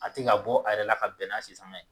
A tɛ ka bɔ a yɛrɛ la ka bɛn n'a sisanga ye